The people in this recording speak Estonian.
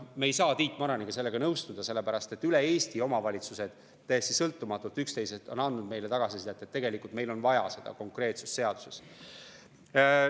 Me Tiit Maraniga ei saa sellega nõustuda, sellepärast et üle Eesti omavalitsused üksteisest täiesti sõltumatult on andnud meile tagasisidet, et tegelikult meil on vaja seaduses seda konkreetsust.